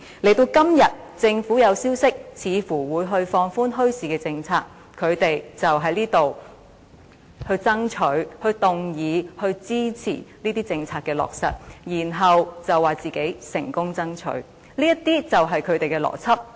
到了今天，政府有消息傳出似乎會放寬墟市政策，他們便在這裏爭取、動議和支持這些政策的落實，然後說自己成功爭取，這些便是他們的邏輯。